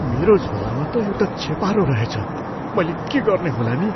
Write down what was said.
मेरो झोलामा त एउटा छेपारो रहेछ। मैले के गर्ने होला नि?